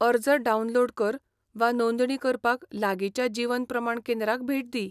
अर्ज डावनलोड कर वा नोंदणी करपाक लागींच्या जीवन प्रमाण केंद्राक भेट दी.